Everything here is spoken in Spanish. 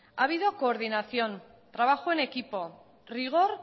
ha habido coordinación trabajo en equipo rigor